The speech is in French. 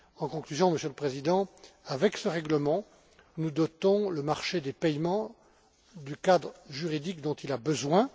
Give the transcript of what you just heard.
En conclusion, Monsieur le Président, avec ce règlement, nous dotons le marché des paiements du cadre juridique dont il a besoin.